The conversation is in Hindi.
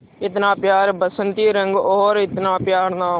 इतना प्यारा बसंती रंग और इतना प्यारा नाम